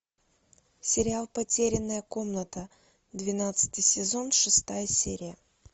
сериал потерянная комната двенадцатый сезон шестая серия